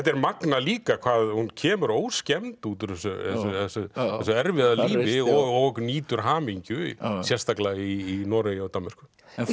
er magnað líka hvað hún kemur óskemmd út úr þessu erfiða lífi og nýtur hamingju sérstaklega í Noregi og Danmörku